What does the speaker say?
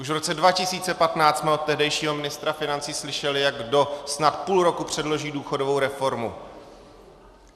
Už v roce 2015 jsme od tehdejšího ministra financí slyšeli, jak snad do půl roku předloží důchodovou reformu.